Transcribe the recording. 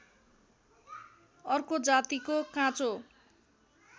अर्को जातिको काँचो